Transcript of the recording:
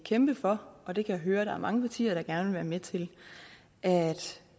kæmpe for og det kan jeg høre der er mange partier der gerne vil være med til at